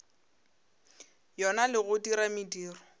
yona le go dira mediro